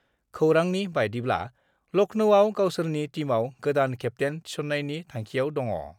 खौरांनि बादिब्ला, लख्नौआव गावसोरनि टीमआव गोदान केप्तेन थिसन्नायनि थांखियाव दङ।